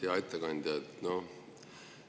Hea ettekandja!